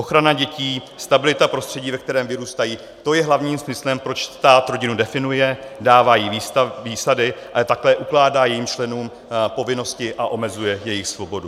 Ochrana dětí, stabilita prostředí, ve kterém vyrůstají, to je hlavním smyslem, proč stát rodinu definuje, dává jí výsady, ale také ukládá jejím členům povinnosti a omezuje jejich svobodu.